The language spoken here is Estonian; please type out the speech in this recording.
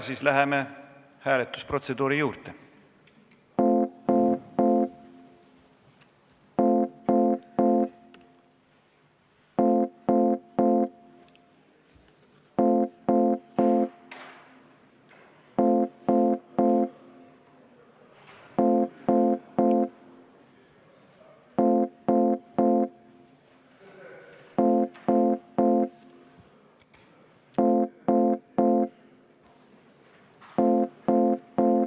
Siis läheme hääletusprotseduuri juurde.